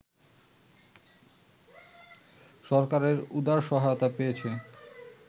সরকারের উদার সহায়তা পেয়েছে